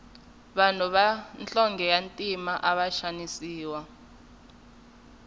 vanhu va nhlonge ya ntima ava xanisiwa